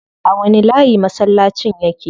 A wani layi masallacin yake?